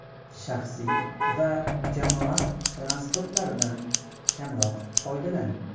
Shaxsiy va jamoat transportlaridan kamroq foydalaning.